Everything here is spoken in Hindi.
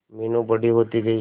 मीनू बड़ी होती गई